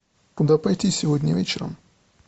куда пойти сегодня вечером